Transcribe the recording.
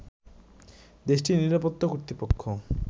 দেশটির নিরাপত্তা কর্তৃপক্ষ